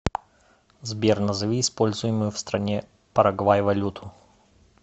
сбер назови используемую в стране парагвай валюту